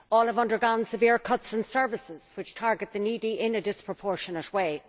All have undergone severe cuts to services which target the needy in a disproportionate way.